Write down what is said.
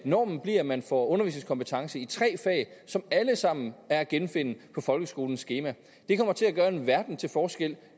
normen bliver at man får undervisningskompetence i tre fag som alle sammen er at genfinde på folkeskolens skema det kommer til at gøre en verden til forskel